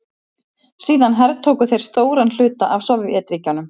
Síðan hertóku þeir stóran hluta af Sovétríkjunum.